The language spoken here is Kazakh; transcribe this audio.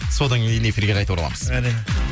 содан кейін эфирге қайта ораламыз әне